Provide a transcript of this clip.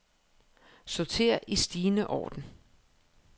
Sorter i stigende orden.